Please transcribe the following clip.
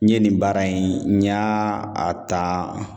N ye nin baara in n y'a ta